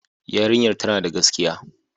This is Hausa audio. Yarinyar tana da gaskiya.